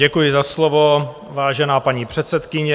Děkuji za slovo, vážená paní předsedkyně.